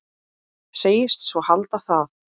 Segist svo halda það.